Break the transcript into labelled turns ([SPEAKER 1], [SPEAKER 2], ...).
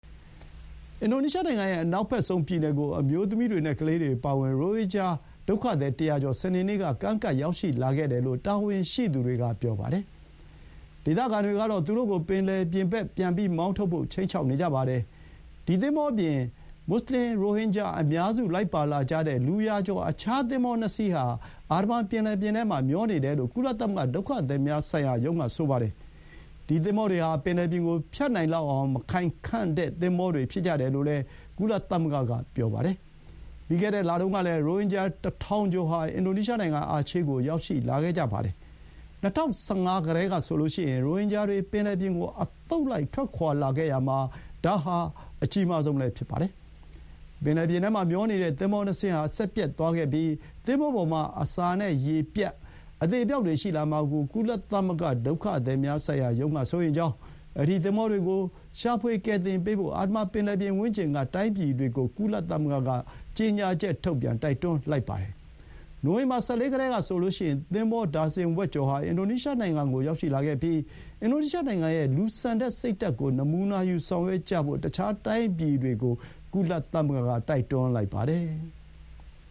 [SPEAKER 1] အင်ဒိုနီးရှားနိုင်ငံရဲ့ အနောက်ဘက်ဆုံးပြည်နယ်ကို အမျိုးသမီးတွေနဲ့ ကလေးတွေအပါအဝင် ရိုဟင်ဂျာ ၁၀၀ ကျော် စနေနေ့ က ကမ်းကပ်လာခဲ့တယ်လို့ တာဝန်ရှိသူတွေက ပြောပါတယ်။ ဒေသခံတွေကတော့ သူတို့ကို ပင်လယ်ပြင်ဘက် ပြန်ထုတ်ဖို့ ခြိမ်းခြောက်နေကြပါတယ်။ မူဆလင် ရိုဟင်ဂျာအများစုလိုက်ပါလာကြတဲ့ လူရာကျော် သင်္ဘော ၂ စီး ဟာ အာဒမန်ပင်လယ်ပြင်ထဲမှာမျောနေတယ်လို့ ကုလသမဂ္ဂ ဒုက္ခသည်များဆိုင်ရာရုံးက ဆိုပါတယ်။ ဒီ သင်္ဘောတွေဟာ ပင်လယ်ပြင်ကိုဖြတ်နိုင်လောက်အောင် မခိုင်ခံ့တဲ့ သင်္ဘောတွေ ဖြစ်ကြတယ်လို့လည်း ကုလသမဂ္ဂက ပြောပါတယ်။ ပြီးခဲ့တဲ့ လတုန်းကလည်း ရိုဟင်ဂျာ ၁,၀၀၀ ကျော်ဟာ အင်ဒိုနီးရှားနိုင်ငံ အာချေးကို ရောက်ရှိလာခဲ့ကြပါတယ်။ ၂၀၁၅ ကတည်းကဆိုရင် ရိုဟင်ဂျာတွေ ပင်လယ်ပြင်ကို အသုတ်လိုက်ထွက်ခွါရာမှာ ဒါဟာ အကြီးမားဆုံးလည်းဖြစ်ပါတယ်။ ပင်လယ်ပြင်ထဲမှာ မျောနေတဲ့ သင်္ဘောနှစ်စင်းဟာ စက်ပျက်သွားခဲ့ပြီး သင်္ဘောပေါ်မှာ အစာနဲ့ရေပြတ်ပြီး အသေအပျောက်တွေ ရှိလာမှာကို ကုလသမဂ္ ဒုက္ခသည်များဆိုင်ရာရုံးက စိုးရိမ်ကြောင်း၊ အဲဒီ သင်္ဘောတွေကို ရှာဖွေကယ်တင်ပေးဖို့ အာဒမန် ပင်လယ်ပြင်ဝန်းကျင်က တိုင်းပြည်တွေကို ကုလသမဂ္ဂက ကြေညာချက်ထုတ်ပြန် တိုက်တွန်းလိုက်ပါတယ်။ နိုဝင်ဘာ ၁၄ ကတည်းကဆိုရင် သင်္ဘော ဒါဇင်ဝက်ကျော်ဟာ အင်ဒိုနီးရှားနိုင်ငံကိုရောက်ရှိခဲ့ပြီး အင်ဒိုနီးရှားနိုင်ငံရဲ့ လူဆန်တဲ့ စိတ်ဓာတ်ကို နမူနာယူ ဆောင်ရွက်ကြဖို့ တခြားတိုင်းပြည်တွေကို ကုလသမဂ္ဂ က ပြောလိုက်ပါတယ်။